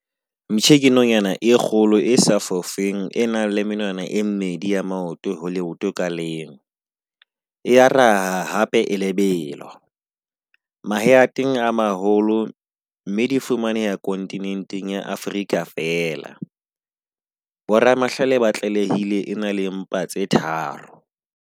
Mptjhe ke nonyana e kgolo e sa fofeng e nang le menwana e mmedi ya maoto ho leoto ka leng. E a raha hape e lebelo. Mahe ateng a maholo, mme di fumaneha kontinenteng ya Afrika fela. Bo ramahlale ba tlalehile e na le mpa tse tharo.